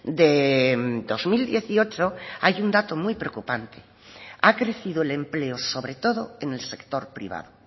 de dos mil dieciocho hay un dato muy preocupante ha crecido el empleo sobre todo en el sector privado